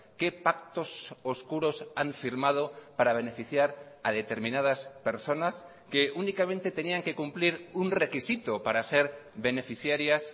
qué pactos oscuros han firmado para beneficiar a determinadas personas que únicamente tenían que cumplir un requisito para ser beneficiarias